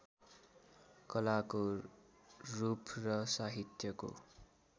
कलाको रूप र साहित्यको